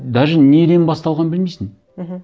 даже неден басталғанын білмейсің мхм